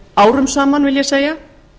árum saman vil ég segja